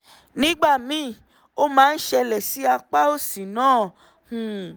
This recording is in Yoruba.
nígbà míì ó máa ń ṣẹlẹ̀ sí apá òsì náà um